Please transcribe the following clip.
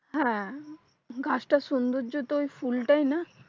হ্যাঁ গাছ টার সোন্দর্য তো ওই ফুলটা ই না